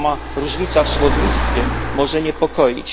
Sama różnica w słownictwie może niepokoić.